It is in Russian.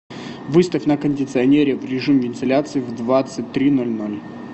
выставь на кондиционере в режим вентиляции в двадцать три ноль ноль